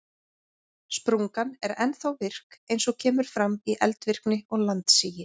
Sprungan er ennþá virk eins og kemur fram í eldvirkni og landsigi.